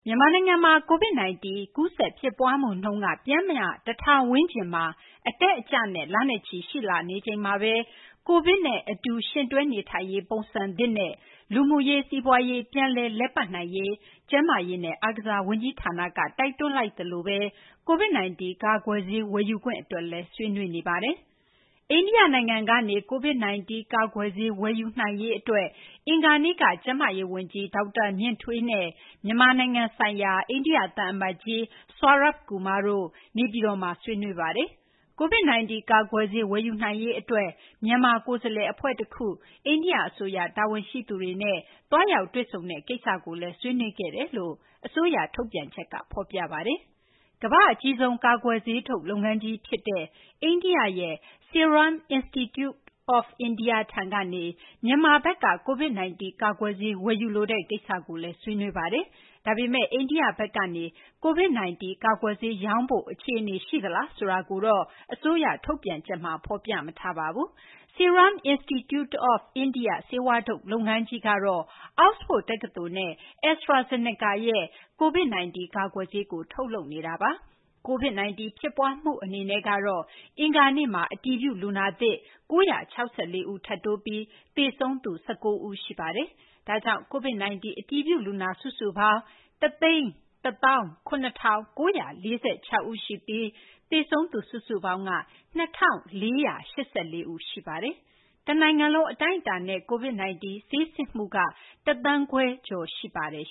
မြန်မာနိုင်ငံမှာ COVID 19 ကူးစက် ဖြစ်ပွားမှုနှုန်းက ပျမ်းမျှ ၁,ဝဝဝ ဝန်းကျင်မှာ အတက်အကျနဲ့ လနဲ့ချီ ရှိလာနေချိန်မှာဘဲ COVID နဲ့ အတူ ယှဉ်တွဲ နေထိုင်ရေး ပုံစံသစ်နဲ့ လူမှုရေး စီးပွားရေး ပြန်လည်လည်ပတ်နိုင်ရေး ကျန်းမာရေးနဲ့ အားကစား ဝန်ကြီးဌာနက တိုက်တွန်းလိုက်သလို COVID 19 ကာကွယ်ဆေး ဝယ်ယူခွင့် အတွက်လည်း ဆွေးနွေးနေပါတယ်။ အိန္ဒိယ နိုင်ငံကနေ COVID-19 ကာကွယ်ဆေး ဝယ်ယူနိုင်ရေးအတွက် အင်္ဂါနေ့က ကျန်းမာရေးဝန်ကြီး ဒေါက်တာ မြင့်ထွေးနဲ့ မြန်မာဆိုင်ရာ အိန္ဒိယ သံအမတ်ကြီး Saurabh Kumar တို့ နေပြည်တော်မှာ ဆွေးနွေးကြပါတယ်။ COVID 19 ကာကွယ်ဆေး ဝယ်ယူနိုင်ရေးအတွက် မြန်မာကိုယ်စားလှယ်အဖွဲ့တခု အိန္ဒိယအစိုးရ တာဝန်ရှိသူတွေနဲ့ သွားရောက်တွေ့ဆုံတဲ့ကိစ္စလည်း ဆွေးနွေးခဲ့ကြောင် အစိုးရ ထုတ်ပြန်ချက်ဖော်ပြပါတယ်။ ကမ္ဘာ့အကြီးဆုံး ကာကွယ်ဆေးထုတ်လုပ်ငန်းကြီးဖြစ်တဲ့ အိန္ဒိယရဲ့ Serum Institute of India ထံကနေ မြန်မာဘက်က COVID-19 ကာကွယ်ဆေးဝယ်ယူလိုတဲ့ကိစ္စကိုလည်း ဆွေးနွေးခဲ့ကြပါတယ်။ ဒါပေမယ့် အိန္ဒိယဘက်က COVID 19 ကာကွယ်ဆေးရောင်းဖို့ အခြေအနေရှိသလားဆိုတာကိုတော့ အစိုးရထုတ်ပြန်ချက်က ဖော်ပြမထားပါဘူး။ Serum Institute of India ဆေးဝါးထုတ်လုပ်ငန်းကြီးကတော့ အောက်စဖို့ဒ် တက္ကသိုလ်နဲ့ AstraZeneca ရဲ့ COVID 19 ကာကွယ်ဆေးကို ထုတ်လုပ်နေတာပါ။ COVID 19 ဖြစ်ပွားမှုကတော့ အင်္ဂါနေ့မှာ အတည်ပြု လူနာသစ် ၉၆၄ ဦးထပ်တိုးပြီး သေဆုံးသူ ၁၉ ဦး ရှိပါတယ်။ ဒါကြောင့် COVID 19 အတည်ပြု လူနာစုစုပေါင်းက ၁၁၇,၉၄၆ ဦးရှိပြီး သေဆုံးသူ စုစုပေါင်းက ၂,၄၈၄ ဦးရှိသွားပါပြီ။ တနိုင်ငံလုံး အတိုင်းအတာနဲ့ COVID 19 ဆေးစစ်မှုက ၁သန်းခွဲကျော်ရှိပါတယ်